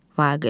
Vaqif.